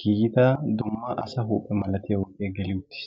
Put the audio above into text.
giigida dumma asaa huphe malatiyagee geli uttis.